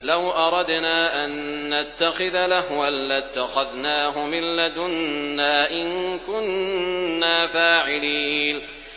لَوْ أَرَدْنَا أَن نَّتَّخِذَ لَهْوًا لَّاتَّخَذْنَاهُ مِن لَّدُنَّا إِن كُنَّا فَاعِلِينَ